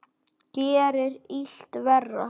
Gerir illt verra.